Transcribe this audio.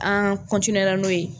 An la n'o ye.